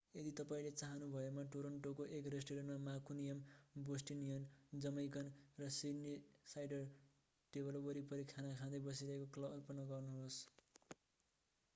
यदि तपाईंले चाहनुभएमा टोरन्टोको एक रेष्टुरेण्टमा मान्कुनियन बोस्टनियन जमैकन र सिड्नीसाइडर टेबल वरिपरि खाना खाँदै बसिरहेको कल्पना गर्नुहोस्